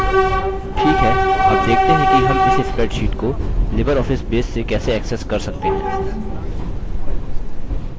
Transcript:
ठीक है अब देखते हैं कि हम इस spreadsheet को libreoffice base से कैसे access कर सकते हैं